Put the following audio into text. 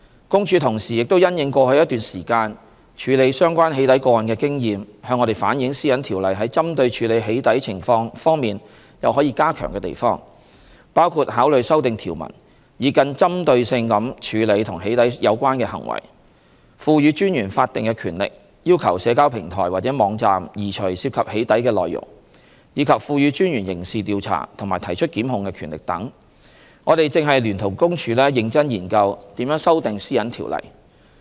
公署同時亦因應過去一段時間處理相關"起底"個案的經驗，向我們反映《私隱條例》在針對處理"起底"情況方面有可以加強的地方，包括考慮修訂條文以更針對性地處理與"起底"有關的行為、賦予專員法定權力要求社交平台或網站移除涉及"起底"的內容，以及賦予專員刑事調查及提出檢控的權力等，我們正聯同公署認真研究如何修訂《私隱條例》。